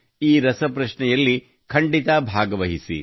ಈ ರಸಪ್ರಶ್ನೆಯಲ್ಲಿ ಖಂಡಿತ ಭಾಗವಹಿಸಿ